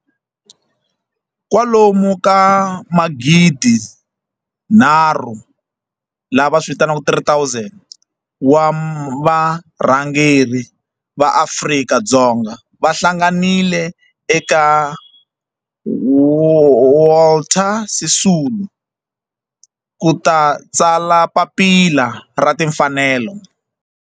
Kwalomu ka magidi nharhu, lava vitiwaka 3 000, wa varhangeri va Afrika-Dzonga va hlanganile eka Walter Sisulu ku ta tsala Papila ra Timfanelo.